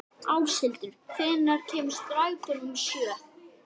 Áshildur, hvenær kemur strætó númer sjö?